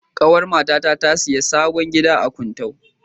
Ƙawar matata ta sayi sabon gida a Kuntau.